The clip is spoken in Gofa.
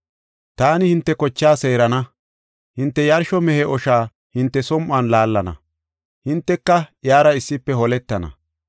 “Taani hinte kochaa seerana; hinte yarsho mehe osha hinte som7on laallana; hinteka iyara issife holetana.